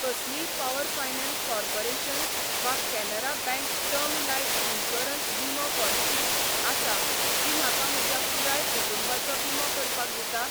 कसलीय power finance corporation वा Canara bank term life insurance विमो पॉलिसी आसा जी म्हाका म्हज्या पुराय कुटुंबाचो विमो करपाक दिता?